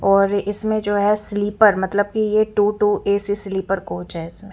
और इसमें जो है स्लिपर मतलब के two two AC sleeper coach है इसमें--